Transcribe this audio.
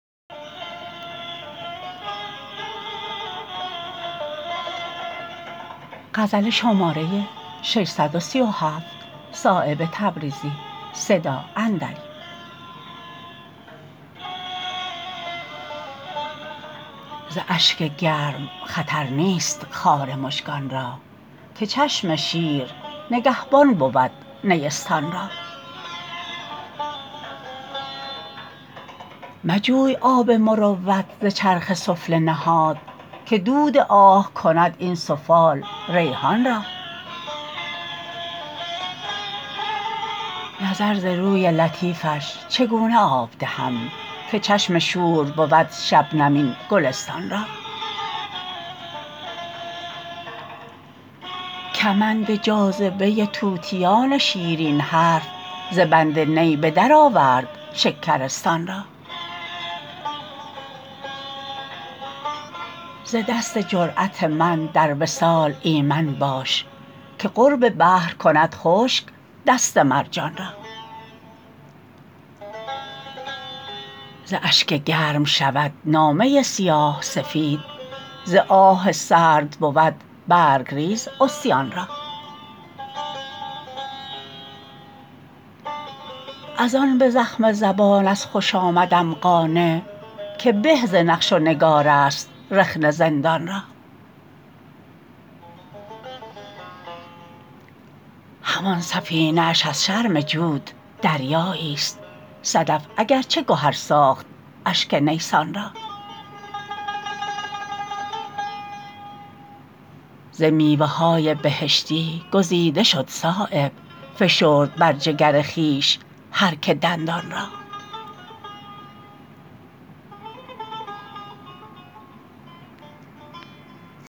ز اشک گرم خطر نیست خار مژگان را که چشم شیر نگهبان بود نیستان را مجوی آب مروت ز چرخ سفله نهاد که دود آه کند این سفال ریحان را نظر ز روی لطیفش چگونه آب دهم که چشم شور بود شبنم این گلستان را کمند جاذبه طوطیان شیرین حرف ز بند نی بدر آورد شکرستان را ز دست جرأت من در وصال ایمن باش که قرب بحر کند خشک دست مرجان را ز اشک گرم شود نامه سیاه سفید ز آه سرد بود برگریز عصیان را ازان به زخم زبان از خوشامدم قانع که به ز نقش و نگارست رخنه زندان را همان سفینه اش از شرم جود دریایی است صدف اگر چه گهر ساخت اشک نیسان را ز میوه های بهشتی گزیده شد صایب فشرد بر جگر خویش هر که دندان را